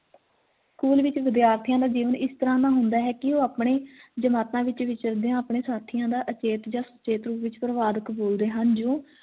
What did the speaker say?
school ਵਿਚ ਵਿਦਿਆਰਥੀਆਂ ਦਾ ਜੀਵਨ ਇਸ ਤਰ੍ਹਾਂ ਦਾ ਹੁੰਦਾ ਹੈ ਕੀ ਓ ਆਪਣੇ ਜਮਾਤਾ ਵਿਚ ਵਿਚਰਦੇਆਂ ਆਪਣੇ ਸਾਥੀਆਂ ਦਾ ਅਚੇਤ ਜਾਂ ਸਚੇਤ ਰੂਪ ਵਿਚ ਪਰਵਾਰ ਕਬੂਲਦੇ ਹਨ ਜੋ